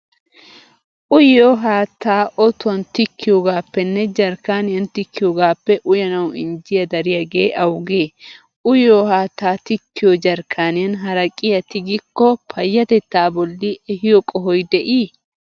Uyiyo haattaa otuwan tikkiyogaappenne jerkkaaniyan tikkiyogaappe uyanawu injjiya dariyagee awugee? Uyiyo haattaa tikkiyo jerkkaaniyan haraqiyaa tigikko payyatettaa bolli ehiyo qohoy de'ii?